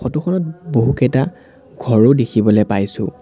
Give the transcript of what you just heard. Photo খনত বহুকেইটা ঘৰো দেখিবলৈ পাইছোঁ।